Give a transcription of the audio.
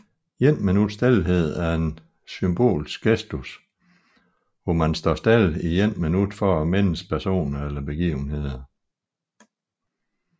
Et minuts stilhed er en symbolsk gestus hvor man står stille i et minut for at mindes personer eller begivenheder